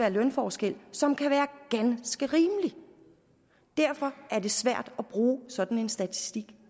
en lønforskel som kan være ganske rimelig derfor er det svært at bruge sådan en statistik